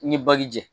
I ni baji jɛ